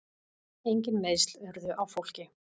Engin meiðsl urðu á fólki.